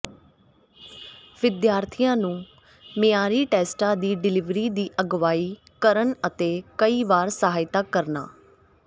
ਵਿਦਿਆਰਥੀਆਂ ਨੂੰ ਮਿਆਰੀ ਟੈਸਟਾਂ ਦੀ ਡਿਲਿਵਰੀ ਦੀ ਅਗਵਾਈ ਕਰਨ ਅਤੇ ਕਈ ਵਾਰ ਸਹਾਇਤਾ ਕਰਨਾ